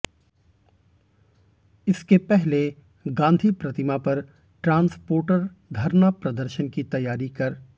इसके पहले गांधी प्रतिमा पर ट्रांसपोर्टर धरना प्रदर्शन की तैयारी कर